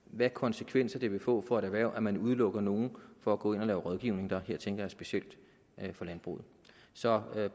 hvilke konsekvenser det vil få for et erhverv at man udelukker nogle fra at gå ind og lave rådgivning her tænker jeg specielt på landbruget så vi er